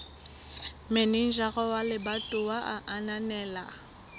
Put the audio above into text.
manejara wa lebatowa a ananela